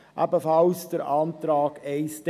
Wir lehnen ebenfalls den Antrag 1d ab.